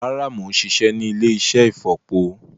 Rárá, mo ń ṣiṣẹ́ ní ilé-iṣẹ́ ìfọ̀po